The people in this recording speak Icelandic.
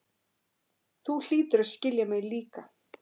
Þú hlýtur að skilja mig líka.